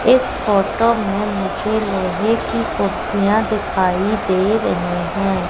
इस फोटो में मुझे लोहे की कुर्सियां दिखाई दे रही हैं।